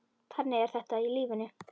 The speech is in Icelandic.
Þannig er þetta í lífinu.